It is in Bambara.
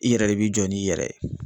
I yɛrɛ de bi jɔ n'i yɛrɛ ye.